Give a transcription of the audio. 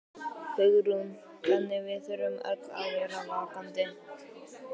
Hugrún: Þannig að við þurfum öll að vera vakandi?